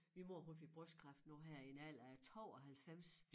Min mor hun fik brystkræft nu her i en alder af 92